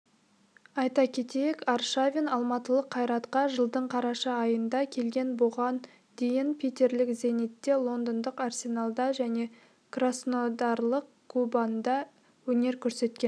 айта кетейік аршавин алматылық кайратқа жылдың қараша айында келген бұған дейін питерлік зенитте лондондық арсеналда және краснодарлық кубаньда өнер көрсеткен